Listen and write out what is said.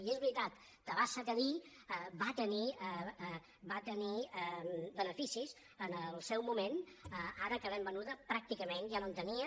i és veritat tabasa cadí va tenir beneficis en el seu moment ara que l’hem venuda pràcticament ja no en tenia